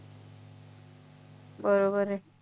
बरोबर आहे